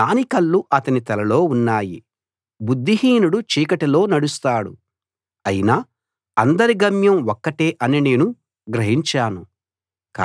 జ్ఞాని కళ్ళు అతని తలలో ఉన్నాయి బుద్ధిహీనుడు చీకటిలో నడుస్తాడు అయినా అందరి గమ్యం ఒక్కటే అని నేను గ్రహించాను